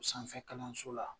U sanfɛ kalanso la.